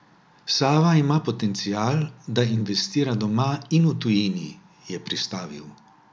Sava ima potencial, da investira doma in v tujini, je pristavil.